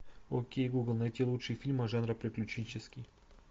окей гугл найти лучшие фильмы жанра приключенческий